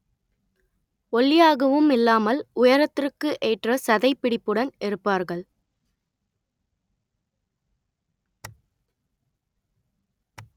ஒல்லியாகவும் இல்லாமல் உயரத்திற்கு ஏற்ற சதைப்பிடிப்புடன் இருப்பார்கள்